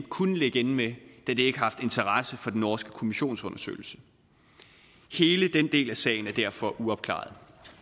kunne ligge inde med da det ikke har haft interesse for den norske kommissionsundersøgelse hele den del af sagen er derfor uopklaret